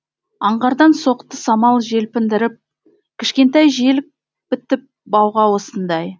аңғардан соқты самал желпіндіріп кішкентай желік бітіп бауға осындай